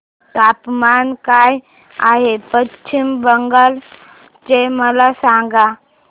तापमान काय आहे पश्चिम बंगाल चे मला सांगा